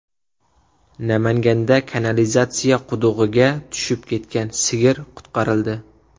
Namanganda kanalizatsiya qudug‘iga tushib ketgan sigir qutqarildi.